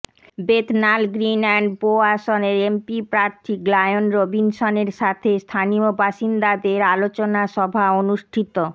Bethnal Green and Bow আসনের MP প্রার্থী Glyn রবিনসনের সাথে স্থানীয় বাসিন্দাদের আলোচনা সভা অনুষ্ঠিত